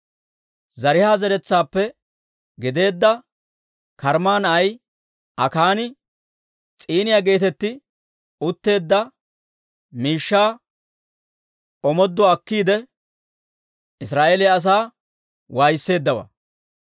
Zaraaha zeretsaappe gideedda Karmma na'ay Akaani S'iiniyaa geetetti utteedda miishshaa omooduwaa akkiide, Israa'eeliyaa asaa waayisseeddawaa.